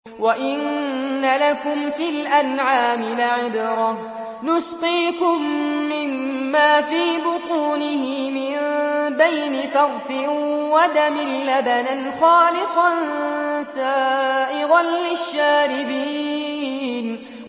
وَإِنَّ لَكُمْ فِي الْأَنْعَامِ لَعِبْرَةً ۖ نُّسْقِيكُم مِّمَّا فِي بُطُونِهِ مِن بَيْنِ فَرْثٍ وَدَمٍ لَّبَنًا خَالِصًا سَائِغًا لِّلشَّارِبِينَ